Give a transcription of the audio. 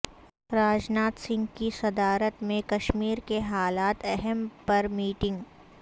راج ناتھ سنگھ کی صدارت میں کشمیرکے حالات اہم پر میٹنگ